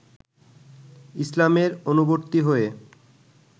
ইসলামের অনুবর্তী হয়ে